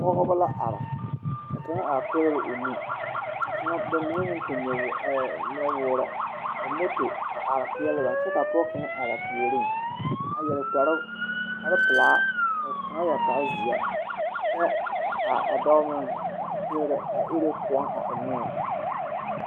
Pɔgebɔ la are ka kaŋa a pɛgrɛ o nu ka kaŋa ba mine meŋ tuŋ nyowoore ee nɔwoore moto a are peɛle ba kyɛ ka pɔɔ kaŋa puoriŋ a yɛre kpare pelaa ka kaŋa yɛre kpare zeɛ kyɛ kaa a dɔɔ meŋ a pɛrɛ a ire kõɔ a eŋnoo.